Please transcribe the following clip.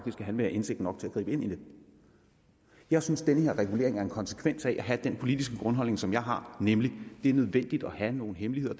have indsigt nok til at gribe ind i det jeg synes at den her regulering er en konsekvens af at have den politiske grundholdning som jeg også har nemlig at det er nødvendigt at have nogle hemmeligheder